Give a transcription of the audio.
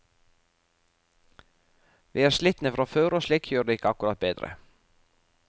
Vi er slitne fra før, og slikt gjør det ikke akkurat bedre.